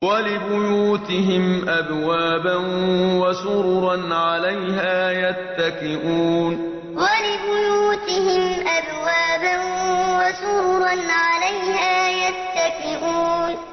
وَلِبُيُوتِهِمْ أَبْوَابًا وَسُرُرًا عَلَيْهَا يَتَّكِئُونَ وَلِبُيُوتِهِمْ أَبْوَابًا وَسُرُرًا عَلَيْهَا يَتَّكِئُونَ